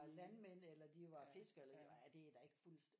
Var landmænd eller de var fiskere er det da ikke fuldstændig